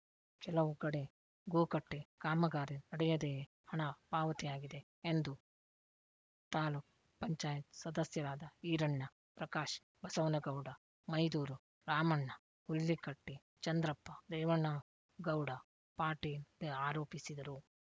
ಕೆಲವು ಕಡೆ ಗೋಕಟ್ಟೆಕಾಮಗಾರಿ ನಡೆಯದೆಯೇ ಹಣ ಪಾವತಿಯಾಗಿದೆ ಎಂದು ತಾಲೂಕ್ ಪಂಚಾಯತ್ ಸದಸ್ಯರಾದ ಈರಣ್ಣ ಪ್ರಕಾಶ್ ಬಸವನಗೌಡ ಮೈದೂರು ರಾಮಣ್ಣ ಹುಲ್ಲಿಕಟ್ಟಿಚಂದ್ರಪ್ಪ ರೇವಣಗೌಡ ಪಾಟೀಲ್ ಆರೋಪಿಸಿದರು